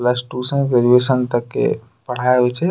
Plus two से graduation तक के पढ़ाई होइ छे।